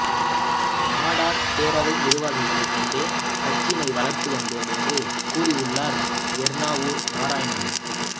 நாடார் பேரவை நிர்வாகிகளை கொண்டே கட்சியினை வளர்த்து வந்தோம் என்று கூறியுள்ளார் எர்ணாவூர் நாராயணன்